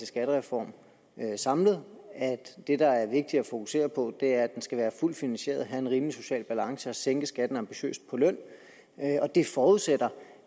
skattereform samlet og at det der er vigtigt at fokusere på er at den skal være fuldt finansieret have en rimelig social balance og sænke skatten ambitiøst på løn og det forudsætter